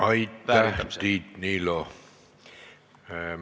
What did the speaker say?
Aitäh, Tiit Niilo!